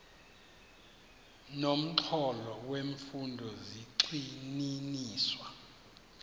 nomxholo wemfundo zigxininiswa